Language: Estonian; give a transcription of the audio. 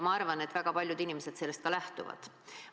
Ma arvan, et väga paljud inimesed sellest ka lähtuvad.